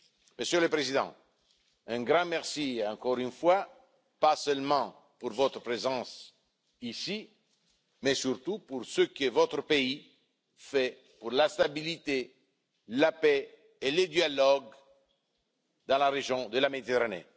Monsieur le Président, un grand merci encore une fois, non seulement pour votre présence ici, mais surtout pour ce que votre pays fait pour la stabilité, la paix et le dialogue dans la région de la Méditerranée.